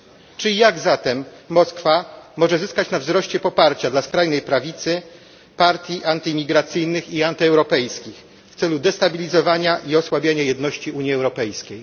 Czy i jak zatem Moskwa może zyskać na wzroście poparcia dla skrajnej prawicy, partii antyimigracyjnych i antyeuropejskich w celu destabilizowania i osłabiania jedności Unii Europejskiej?